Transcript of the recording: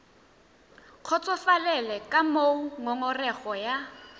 kgotsofalele ka moo ngongorego ya